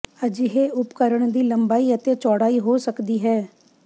ਅਜਿਹੇ ਉਪਕਰਣ ਦੀ ਲੰਬਾਈ ਅਤੇ ਚੌੜਾਈ ਹੋ ਸਕਦੀ ਹੈ